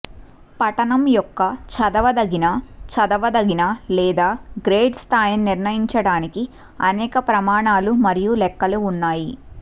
పఠనం యొక్క చదవదగిన చదవదగిన లేదా గ్రేడ్ స్థాయిని నిర్ణయించడానికి అనేక ప్రమాణాలు మరియు లెక్కలు ఉన్నాయి